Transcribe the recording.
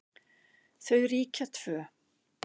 Þau ríkja tvö.